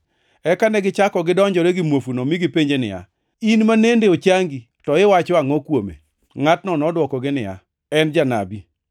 Eka negichako gidonjore gi muofuno, mi gipenje niya, “In manende ochangi, to iwacho angʼo kuome?” Ngʼatno nodwokogi niya, “En janabi.”